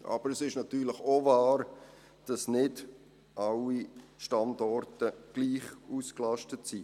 Aber es ist natürlich auch wahr, dass nicht alle Standorte gleich ausgelastet sind.